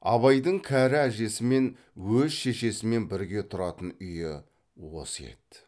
абайдың кәрі әжесімен өз шешесімен бірге тұратын үйі осы еді